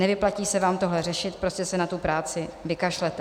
Nevyplatí se vám tohle řešit, prostě se na tu práci vykašlete.